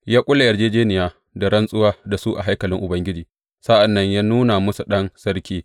Ya ƙulla yarjejjeniya da rantsuwa da su a haikalin Ubangiji, sa’an nan ya nuna musu ɗan sarki.